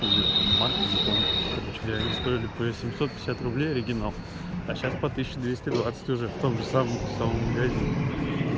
или там марки я не помню короче говоря они стоили по семьсот пятьдесят рублей оригинал а сейчас по тысяче двести двадцать уже в том же самом самом магазине